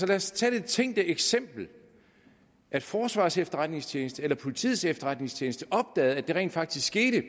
lad os tage det tænkte eksempel at forsvarets efterretningstjeneste eller politiets efterretningstjeneste opdagede at det rent faktisk skete